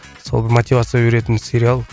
сол мотивация беретін сериал